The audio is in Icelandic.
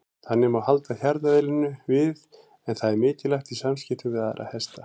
Þannig má halda hjarðeðlinu við en það er mikilvægt í samskiptum við aðra hesta.